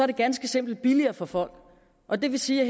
det ganske simpelt billigere for folk og det vil sige at